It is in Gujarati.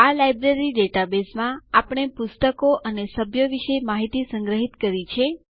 આ લાઈબ્રેરી ડેટાબેઝમાં આપણે પુસ્તકો અને સભ્યો વિશે માહિતી સંગ્રહિત કરી છે